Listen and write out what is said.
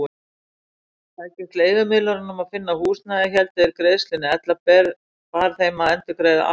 Tækist leigumiðlurunum að finna húsnæði héldu þeir greiðslunni, ella bar þeim að endurgreiða allt aftur.